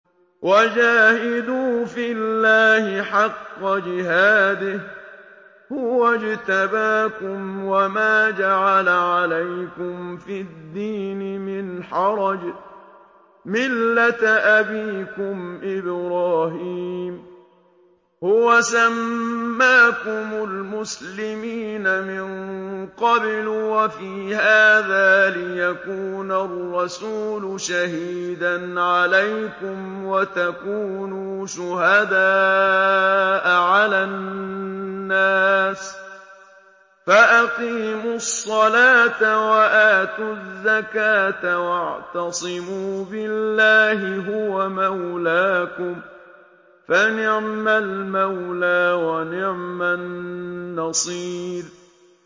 وَجَاهِدُوا فِي اللَّهِ حَقَّ جِهَادِهِ ۚ هُوَ اجْتَبَاكُمْ وَمَا جَعَلَ عَلَيْكُمْ فِي الدِّينِ مِنْ حَرَجٍ ۚ مِّلَّةَ أَبِيكُمْ إِبْرَاهِيمَ ۚ هُوَ سَمَّاكُمُ الْمُسْلِمِينَ مِن قَبْلُ وَفِي هَٰذَا لِيَكُونَ الرَّسُولُ شَهِيدًا عَلَيْكُمْ وَتَكُونُوا شُهَدَاءَ عَلَى النَّاسِ ۚ فَأَقِيمُوا الصَّلَاةَ وَآتُوا الزَّكَاةَ وَاعْتَصِمُوا بِاللَّهِ هُوَ مَوْلَاكُمْ ۖ فَنِعْمَ الْمَوْلَىٰ وَنِعْمَ النَّصِيرُ